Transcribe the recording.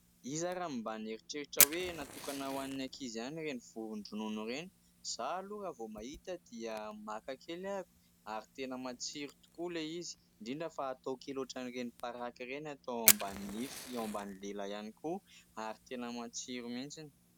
Iza ary no mba nieritreritra hoe natokana ho an'ny ankizy ihany ireny vovon-dronono ireny? Izaho aloha raha vao mahita dia maka kely aho ary tena matsiro tokoa ilay izy indrindra fa atao kely ohatra an'ireny paraky ireny atao ao ambany nify, ao ambany lela ihany koa ary tena matsiro mihitsy.